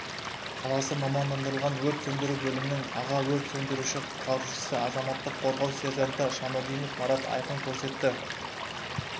қаласы мамандандырылған өрт сөндіру бөлімінің аға өрт сөндіруші-құтқарушысы азаматтық қорғау сержанты шамадинов марат айқын көрсетті